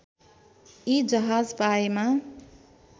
यी जहाज पाएमा